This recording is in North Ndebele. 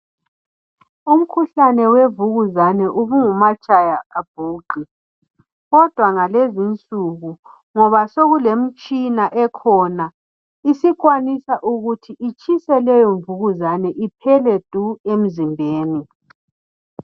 Umkhuhlane wemvukuzane ubungumatshaya abhuqe. Kodwa ngalezi insuku ngoba sokulemitshina ekhona isikwanisa ukuthi itshise leyo mvukuzane iphele du emizimbeni.